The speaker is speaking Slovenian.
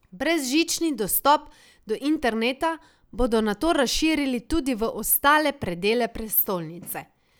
Brezžični dostop do interneta bodo nato razširili tudi v ostale predele prestolnice.